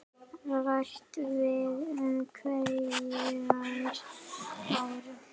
Rætt var um hverjir færu.